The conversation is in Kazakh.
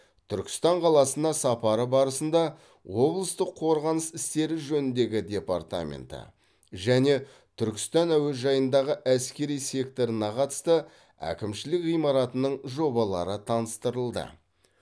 түркістан қаласына сапары барысында облыстық қорғаныс істері жөніндегі департаменті және түркістан әуежайындағы әскери секторына қатысты әкімшілік ғимаратының жобалары таныстырылды